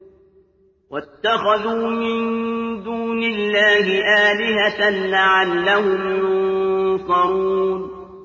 وَاتَّخَذُوا مِن دُونِ اللَّهِ آلِهَةً لَّعَلَّهُمْ يُنصَرُونَ